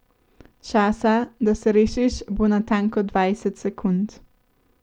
Časa, da se rešiš, bo natanko dvajset sekund.